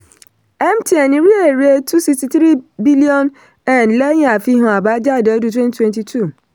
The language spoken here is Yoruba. mtn rí èrè two sixty three billion lẹ́yìn àfihàn àbájáde ọdún twenty twenty two